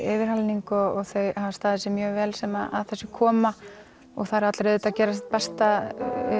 yfirhalning og þau hafa staðið sig mjög vel sem að þessu koma og það eru allir auðvitað að gera sitt besta